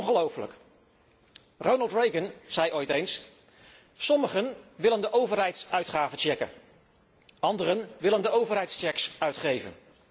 Ongelooflijk! Ronald Reagan zei ooit eens Sommigen willen de overheidsuitgaven checken, anderen willen de overheidscheques uitgeven.